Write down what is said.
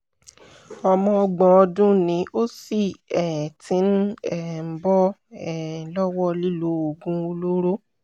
ọmọ ọgbọ̀n ọdún ni ó sì um ti ń um bọ́ um lọ́wọ́ lílo oògùn olóró